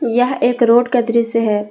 यह एक रोड का दृश्य है ।